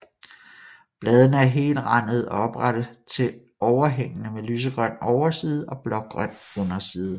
Bladene er helrandede og oprette til overhængende med lysegrøn overside og blågrøn underside